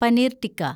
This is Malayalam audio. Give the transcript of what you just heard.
പനീർ ടിക്ക